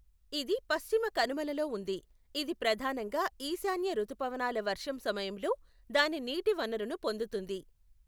ఇది పశ్చిమ కనుమలలో ఉంది, ఇది ప్రధానంగా ఈశాన్య రుతుపవనాల వర్షం సమయంలో దాని నీటి వనరును పొందుతుంది.